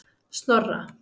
Snorra